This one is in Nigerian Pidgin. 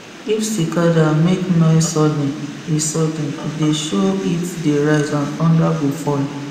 if cicada make noise sudden e sudden e dey show heat dey rise and thunder go fall